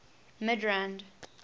midrand